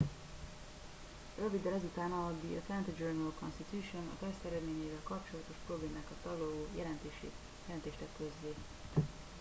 röviddel ezután a the atlanta journal constitution a teszt eredményeivel kapcsolatos problémákat taglaló jelentést tett közzé